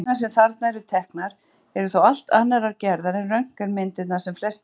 Myndirnar sem þarna eru teknar eru þó allt annarrar gerðar en röntgenmyndir sem flestir þekkja.